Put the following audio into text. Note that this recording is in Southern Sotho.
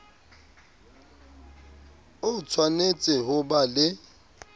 o tshwanetse ho ba le